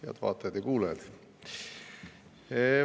Head vaatajad ja kuulajad!